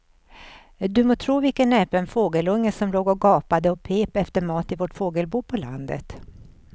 Du må tro vilken näpen fågelunge som låg och gapade och pep efter mat i vårt fågelbo på landet.